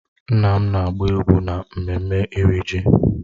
Nna m na-agba egwu n'emume iri ji